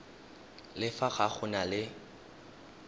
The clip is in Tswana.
le fa go na le